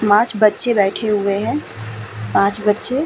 माच बच्चे बेठे हुए हैं। पाँच बच्चे --